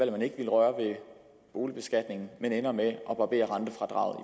den ikke ville røre ved boligbeskatningen men ender med at barbere rentefradraget